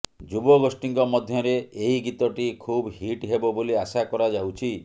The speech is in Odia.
ଯୁବଗୋଷ୍ଠୀଙ୍କ ମଧ୍ୟରେ ଏହି ଗୀତଟି ଖୁବ୍ ହିଟ୍ ହେବ ବୋଲି ଆଶା କରାଯାଉଛି